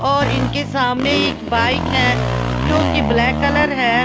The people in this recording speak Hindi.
और इनके सामने एक बाइक है जो कि ब्लैक कलर है ।